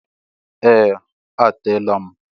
Ee! A teela m.